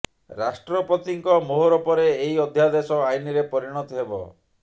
ରାଷ୍ଟ୍ରପତିଙ୍କ ମୋହର ପରେ ଏହି ଅଧ୍ୟାଦେଶ ଆଇନ୍ ରେ ପରିଣତ ହେବ